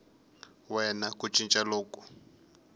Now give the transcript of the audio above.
we na ku cinca loku